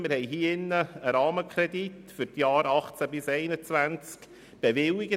Wir hatten einen Rahmenkredit für die Jahre 2018 bis 2021 im Grossen Rat bewilligt.